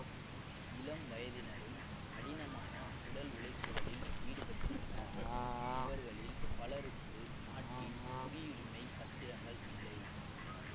இளம் வயதினரும் கடினமான உடல் உழைப்புகளில் ஈடுபட்டுள்ளனர் இவர்களில் பலருக்கு நாட்டின் குடியுரிமை பத்திரங்கள் இல்லை